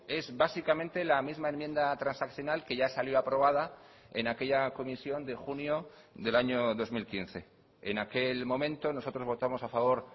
es básicamente la misma enmienda transaccional que ya salió aprobada en aquella comisión de junio del año dos mil quince en aquel momento nosotros votamos a favor